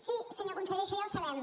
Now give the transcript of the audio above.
sí senyor conseller això ja ho sabem